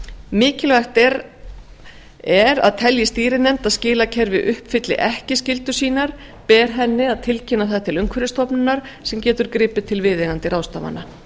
mikilvægt er að telji stýrinefnd að skilakerfið uppfylli ekki skyldur sínar beri henni að tilkynna það til umhverfisstofnunar sem getur gripið til viðeigandi ráðstafana